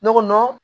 Ne ko